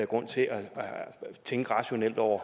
grund til at tænke rationelt over